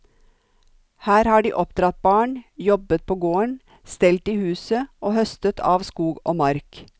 Her har de oppdratt barn, jobbet på gården, stelt i huset og høstet av skog og mark.